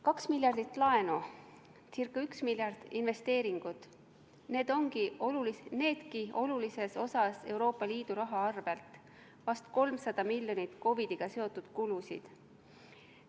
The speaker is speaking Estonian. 2 miljardit laenu, ca 1 miljard investeeringuid, needki olulises osas Euroopa Liidu rahast, vist 300 miljonit COVID-iga seotud kulusid.